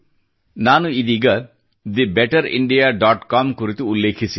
ನಾನು ಇದೀಗ the better India dot com ಕುರಿತು ಉಲ್ಲೇಖಿಸಿದ್ದೆ